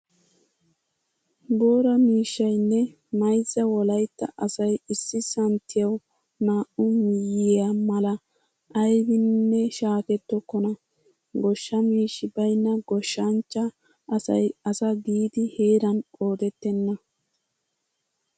Boora miishshaynne mayzza wolaytta asay issi santtiyawu naa"u miyyiya mala aybiininne shaakettokona. Goshsha miishshi baynna goshshanchchaa asay asa giidi heeran qoodenna.